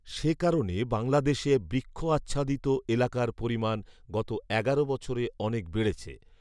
সেকারণে বাংলাদেশে বৃক্ষ আচ্ছাদিত এলাকার পরিমাণ গত এগারো বছরে অনেক বেড়েছে